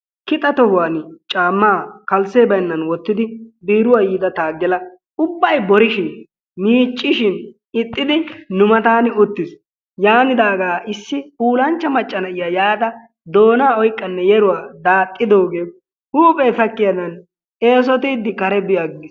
kixxa tohuwani caamaa kalsee baynnan wottidi biiruwa yiida taagela ubbay borishin miiccishin ixxidi nu mataani uttiis. yanidaaga issi puulanchcha macca na'iya yaada doonaa oyqanne yeruwa daaxidoogee huuphe sakkiyadan eesotiidi kare bi agiis.